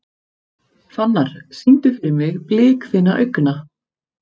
Fannar, syngdu fyrir mig „Blik þinna augna“.